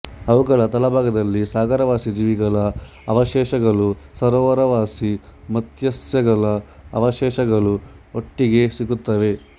ಅವುಗಳ ತಳಭಾಗದಲ್ಲಿ ಸಾಗರವಾಸಿ ಜೀವಿಗಳ ಅವಶೇಷಗಳೂ ಸರೋವರವಾಸಿ ಮತ್ಸ್ಯಗಳ ಅವಶೇಷಗಳೂ ಒಟ್ಟಿಗೆ ಸಿಗುತ್ತವೆ